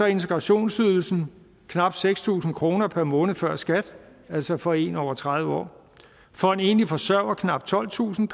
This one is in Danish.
integrationsydelsen på knap seks tusind kroner per måned før skat altså for en person over tredive år for en enlig forsørger knap tolvtusind